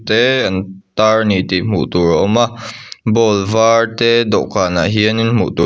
te an tar a ni tih hmuh tur a awm a bowl var te dawhkanah hian in hmuh tur--